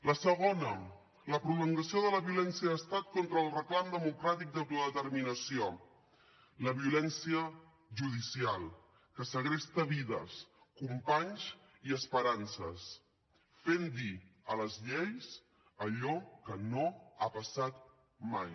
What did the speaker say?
la segona la prolongació de la violència d’estat contra el reclam democràtic d’autodeterminació la violència judicial que segresta vides companys i esperances fent dir a les lleis allò que no ha passat mai